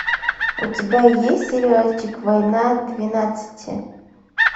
у тебя есть сериальчик война двенадцати